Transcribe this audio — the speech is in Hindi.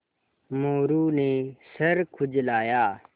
मोरू ने सर खुजलाया